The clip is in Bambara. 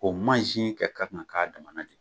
O mansin kɛ kan ka k'a damana de